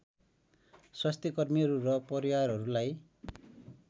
स्वास्थ्यकर्मीहरू र परिवारहरूलाई